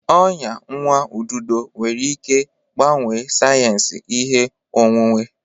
Ọnya nwa ududo nwere ike gbanwee sayensị ihe onwunwe.